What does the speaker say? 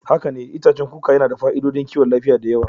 Haka ne, itacen kuka yana da fa'idodin kiwon lafiya da yawa.